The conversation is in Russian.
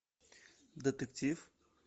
детектив